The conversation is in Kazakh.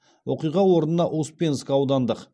оқиға орнына успенск аудандық